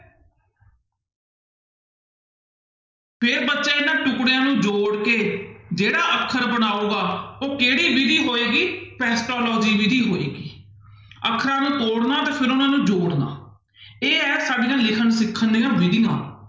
ਫਿਰ ਬੱਚੇ ਇਹਨਾਂ ਟੁੱਕੜਿਆਂ ਨੂੰ ਜੋੜ ਕੇ ਜਿਹੜਾ ਅੱਖਰ ਬਣਾਊਗਾ ਉਹ ਕਿਹੜੀ ਵਿਧੀ ਹੋਏਗੀ ਵਿੱਧੀ ਹੋਏਗੀ ਅੱਖਰਾਂ ਨੂੰ ਤੋੜਨਾ ਤੇ ਫਿਰ ਉਹਨਾਂ ਨੂੰ ਜੋੜਨਾ ਇਹ ਹੈ ਸਾਡੀਆਂ ਲਿਖਣ ਸਿੱਖਣ ਦੀਆਂ ਵਿੱਧੀਆਂ।